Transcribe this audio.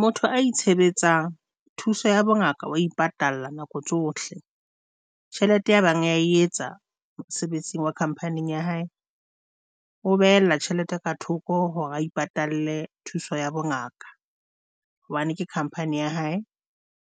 Motho a itshebetsang thuso ya bongaka wa ipatalla nako tsohle tjhelete ya bang o ya etsa mosebetsing wa khamphani ya hae o behella tjhelete ka thoko hore o ipatalle thuso ya bongaka hobane ke khamphani ya hae,